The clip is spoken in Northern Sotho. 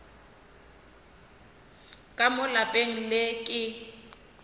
ka mo lapeng le ke